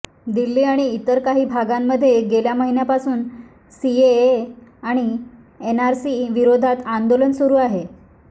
दिल्ली आणि इतर काही भागांमध्ये गेल्या महिन्यापासून सीएए आणि एनआरसी विरोधात आंदोलन सुरु आहे